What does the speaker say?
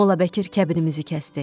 Mollabəkir kəbinimizi kəsdi.